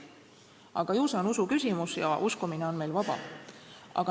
Aga ju see on usuküsimus ja uskumine on meil vaba.